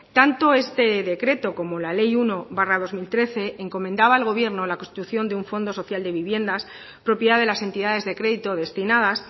tanto este decreto como la ley uno barra dos mil trece encomendaba al gobierno la constitución de un fondo social de viviendas propiedad de las entidades de crédito destinadas